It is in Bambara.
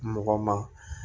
Mɔgɔ ma